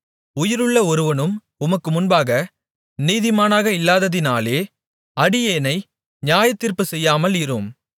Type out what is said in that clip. உயிருள்ள ஒருவனும் உமக்கு முன்பாக நீதிமானாக இல்லாததினாலே அடியேனை நியாயத்தீர்ப்புச் செய்யாமல் இரும்